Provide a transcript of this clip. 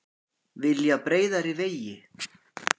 Vilja breiðari vegi